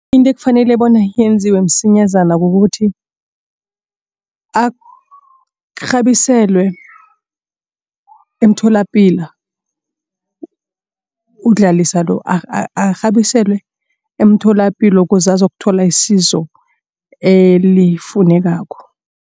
Into ekufanele bona yenziwe msinyazana kukuthi arhabiselwe emtholapilo uDlalisa lo arhabiselwe emtholapilo ukuze athole isizo elifunekako.